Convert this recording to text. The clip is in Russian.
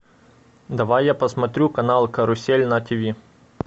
давай я посмотрю канал карусель на тв